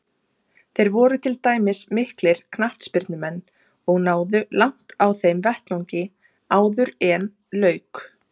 Þeir voru til dæmis miklir knattspyrnumenn og náðu langt á þeim vettvangi áðuren lauk.